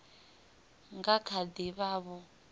nga kha ḓi vha vho